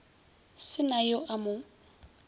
se na yo a mo